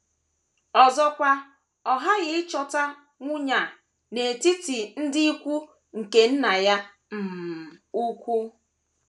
Ọzọkwa, ọ ghaghị ịchọta nwunye a n’etiti ndị ikwu nke nna ya um ukwu.